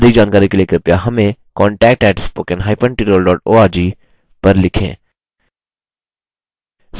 अधिक जानकारी के लिए कृपया हमें contact @spoken hyphen tutorial org पर लिखें